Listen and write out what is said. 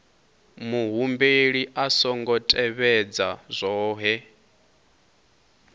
muhumbeli a songo tevhedza zwohe